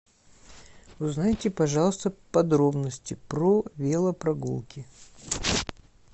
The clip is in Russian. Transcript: узнайте пожалуйста подробности про велопрогулки